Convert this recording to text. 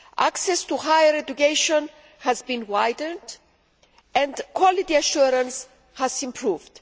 Access to higher education has been widened and quality assurance has improved.